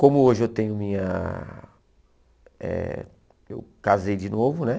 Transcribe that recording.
Como hoje eu tenho minha eh... eu casei de novo, né?